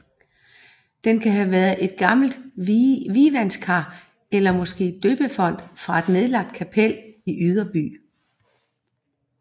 Den kan have været et gammelt vievandskar eller måske døbefonten fra et nedlagt kapel i Yderby